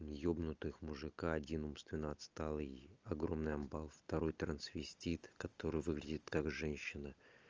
ёбнутых мужика один умственно отсталый огромный амбал второй трансвестит который выглядит как женщина